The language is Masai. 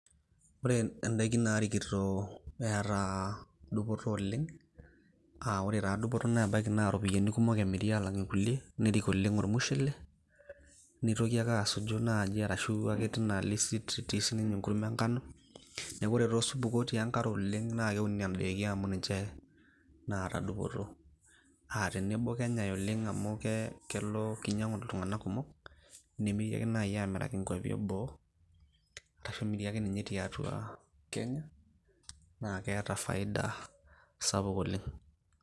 Ore n`daikin naarikito eeta dupoto oleng', ore taa dupoto nebaiki naa irropiyiani kumok emiri aalang' nkulie. Nerrik oleng' olmushele neitoki ake asuju naaji ashu teina listi enkurma e nkano. Niaku ore taa osupuko otii enkare oleng' naa keuni nena daikin amu ninche naata dupoto aa tenebo kenyai oleng' amu kee kelo kinyiang`u iltung`anka kumok. Nemiri ake naaji aamiraki nkuapi e boo ashu emiri ake ninye tiatua Kenya naa, keeta faida sapuk oleng'.